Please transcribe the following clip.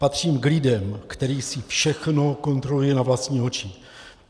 Patřím k lidem, kteří si všechno kontrolují na vlastní oči.